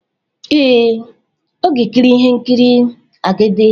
Ee, ọ ga-ekiri ihe nkiri "Agidi"